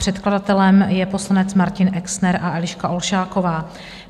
Předkladatelem je poslanec Martin Exner a Eliška Olšáková.